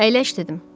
Əyləş dedim.